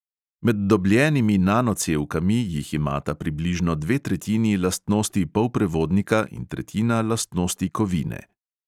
Med dobljenimi nanocevkami jih imata približno dve tretjini lastnosti polprevodnika in tretjina lastnosti kovine.